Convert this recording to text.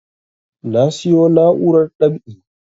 Na siyo na'urar dab'i